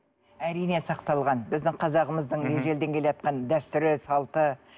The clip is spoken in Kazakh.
әрине сақталған біздің қазағымыздың ежелден келеатқан дәстүрі салты